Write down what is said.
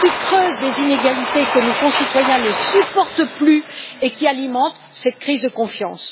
qui creusent les inégalités que nos concitoyens ne supportent plus et alimentent cette crise de confiance.